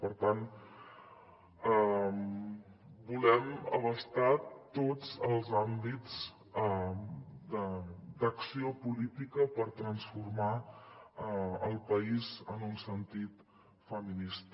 per tant volem abastar tots els àmbits d’acció política per transformar el país en un sentit feminista